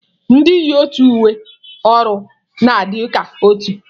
Ndị yi otu uwe ọrụ na-adị ka otu